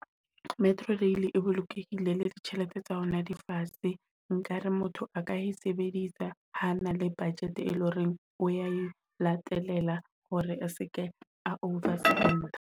Metro rail e bolokehile le ditjhelete tsa hona di fatshe. Nkare motho a ka e sebedisa ha na le budget e leng hore o e latelela hore a seke a over spend-a.